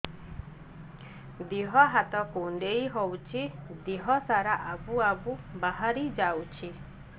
ଦିହ ହାତ କୁଣ୍ଡେଇ ହଉଛି ଦିହ ସାରା ଆବୁ ଆବୁ ବାହାରି ଯାଉଛି